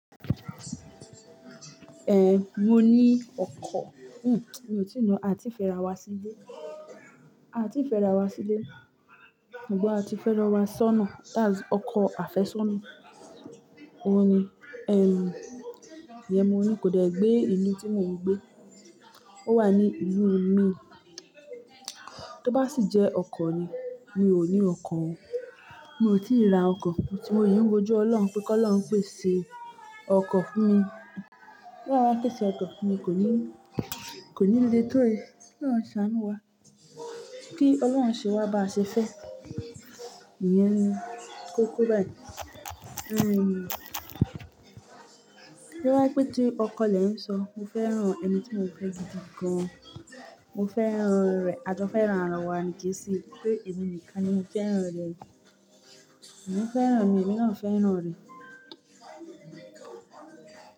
Eh mo ní ọkọ̀. Hmm mi ò tí ì na, a ti fẹ́ ra wá sílé, a ti fẹ́ ra wá sílé, ṣùgbọ́n a ti fẹ́ lọ wá sọ́nà, that's ọkọ àfẹ́sọ́nà. Ó ní, ẹm, ìyẹn mo ní kò dẹ́ gbé ìlú tí mò ń gbé, ó wà ní ìlú mi. Tó bá sì jẹ́ ọkọ ni, mi ò ní ọkọ. Mi ò tí ì ra ọkọ, mo sì ń wòjú Ọlọ́run pé kí Ọlọ́run pèsè ọkọ fún mi. Bí Ọlọ́run bá pèsè ọkọ, fún mi kò ní, kò ní le tó èyí. Ọlọ́run ṣàánú wá, kí Ọlọ́run ṣe wá bá ṣe fẹ́. Ìyẹn ni, kó ko báyìí. Ehn, bóyá jẹ́ pé tí ọkọ lẹ̀ ń sọ, mo fẹ́ràn ẹni tí mo ń fẹ́ gidi gan. Mo fẹ́ràn rẹ̀, a jó fẹ́ràn ara wa ni Kẹ́sí. Pé èmi nìkan ni mo fẹ́ràn rẹ̀. Òun fẹ́ràn mi, èmi náà fẹ́ràn rẹ̀.